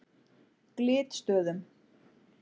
Glitstöðum